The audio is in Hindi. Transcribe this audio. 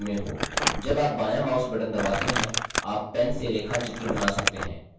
जब आप बायाँ mouse button दबाते हैं आप pen से रेखाचित्र button सकते हैं